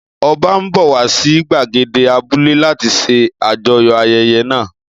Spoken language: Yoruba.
Ọba ń bọ̀ wá sí gbàgede abúlé láti ṣe àjọyọ̀ ayẹyẹ náà